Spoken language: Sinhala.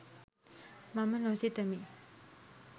මම නොසිතමි.